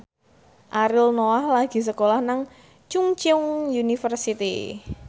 Ariel Noah lagi sekolah nang Chungceong University